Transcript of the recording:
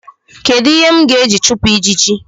Kedu ihe m ga-eji chupụ ijiji?